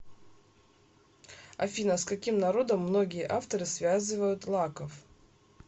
афина с каким народом многие авторы связывают лаков